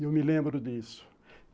Eu me lembro disso.